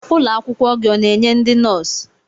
Ụlọ akwụkwọ gị ọ na-enye ndị nọọsụ?